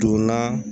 Donna